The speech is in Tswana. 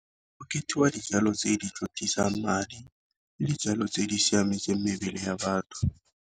Ke dijalo tse di madi le dijalo tse di siametseng mebele ya batho.